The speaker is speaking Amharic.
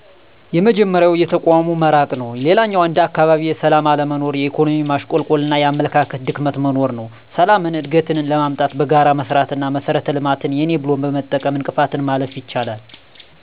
የመጀመሪያው የተቋሙ መራቅ ነው። ሌላኛው እንደ አካባቢ የሠላም አለመኖር፣ የኢኮኖሚ ማሽቆልቆልና የአመለካከት ድክመት መኖር ነው። ሠላምን፣ እድገትን ለማምጣት በጋራ መሥራት አና መሠረተ ልማትን የኔ ብሎ በመጠበቅ እንቅፋትን ማለፍ ይቻላል።